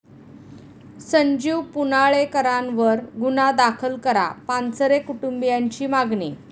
संजीव पुनाळेकरांवर गुन्हा दाखल करा, पानसरे कुंटुबीयांची मागणी